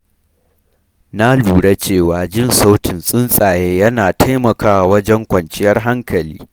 Na lura cewa jin sautin tsuntsaye yana taimakawa wajen kwanciyar hankali.